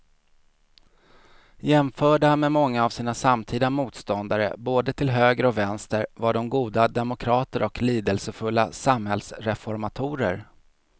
Jämförda med många av sina samtida motståndare både till höger och vänster var de goda demokrater och lidelsefulla samhällsreformatorer.